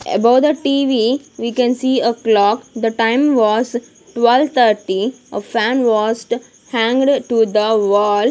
Above the t_v we can see a clock the time was twelve thirty a fan wased hanged to the wall.